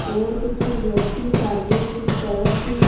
और कुछ व्यक्ति सामने की तरफ--